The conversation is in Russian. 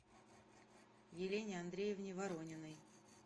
елене андреевне ворониной